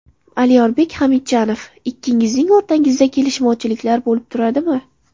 Alyorbek Hamidjanov Ikkingizning o‘rtangizda kelishmovchiliklar bo‘lib turadimi?